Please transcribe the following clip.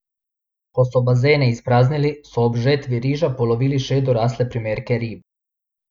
Ko so bazene izpraznili, so ob žetvi riža polovili še dorasle primerke rib.